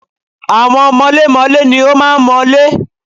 Àwọn mọlémọlé ni ó máa ń mọ́lé.